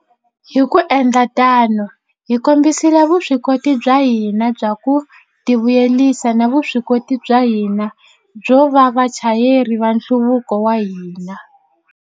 Hi ku endla tano, hi kombisile vuswikoti bya hina bya ku tivuyisela na vuswikoti bya hina byo va vachayeri va nhluvuko wa hina.